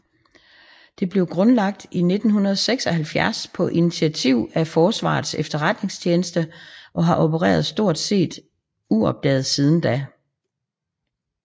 Det blev grundlagt i 1976 på initiativ af Forsvarets Efterretningstjeneste og har opereret stort set uopdaget siden da